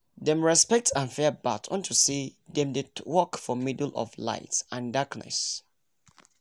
dem respect and fear bat unto say dem dey walk for middle of light and darkness